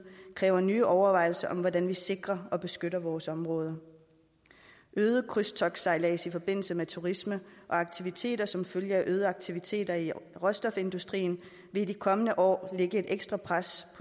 kræver nye overvejelser om hvordan vi sikrer og beskytter vores områder øget krydstogtsejlads i forbindelse med turisme og aktiviteter som følge af øgede aktiviteter i råstofindustrien vil i de kommende år lægge et ekstra pres